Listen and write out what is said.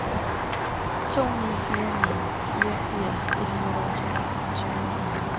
to ni fire ni fireogfirs et hundrede og toogtyve